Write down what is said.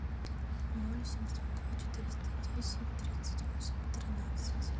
ноль семьсот два четыреста десять тридцать восемь тринадцать